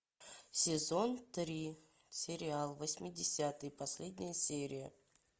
сезон три сериал восьмидесятые последняя серия